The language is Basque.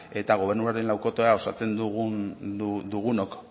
eta gobernuaren laukotea osatzen dugunok